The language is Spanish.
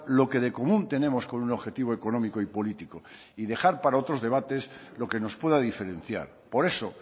lo que de común tenemos con un objetivo económico y político y dejar para otros debates lo que nos pueda diferenciar por eso